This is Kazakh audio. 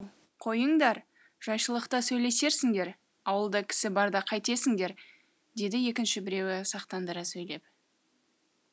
ау қойыңдар жайшылықта сөйлесерсіңдер ауылда кісі барда қайтесіңдер деді екінші біреуі сақтандыра сөйлеп